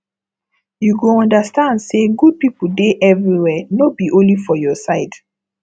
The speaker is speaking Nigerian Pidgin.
you go understand say good people dey everywhere no be only for your side